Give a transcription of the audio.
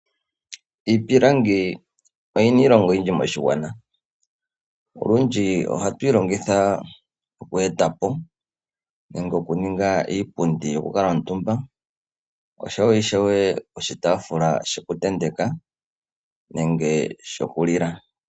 Iipilangi oyina iilonga oyindji moshigwana. Olundji ohatuyi longitha oku etapo nenge oku ninga iipundi yoku kuutumba oshowo ishewe oshitaafula shoku tenteka nenge shokulila.